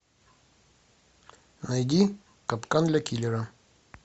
найди капкан для киллера